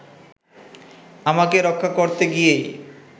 আমাকে রক্ষা করতে গিয়েই